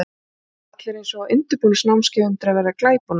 Það voru allir eins og á undirbúningsnámskeiði undir að verða glæponar.